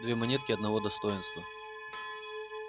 две монетки одного достоинства